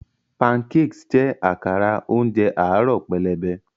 Pancakes jẹ́ àkàrà oúnjẹ àárọ̀ pẹlẹbẹ.